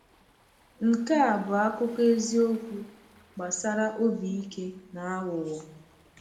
Nke a bụ akụkọ eziokwu gbasara obi ike na aghụghọ.